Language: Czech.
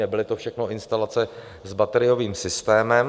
Nebyly to všechno instalace s bateriovým systémem.